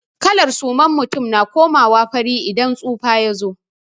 Kalar suman mutum na komawa fari idan tsufa ya zo.